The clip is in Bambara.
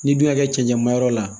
N'i dun y'a kɛ cɛncɛnmayɔrɔ la